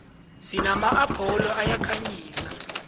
sinama apholo ayakhanyisa